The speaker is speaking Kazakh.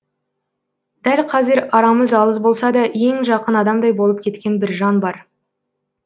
дәл қазір арамыз алыс болса да ең жақын адамдай болып кеткен бір жан бар